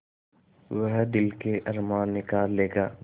वह दिल के अरमान निकाल लेगा